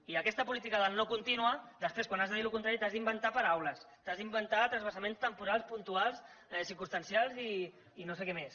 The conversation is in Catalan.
i amb aquesta política del no contínua després quan has de dir el contrari t’has d’inventar paraules t’has d’inventar transvasaments temporals puntuals circumstancials i no sé què més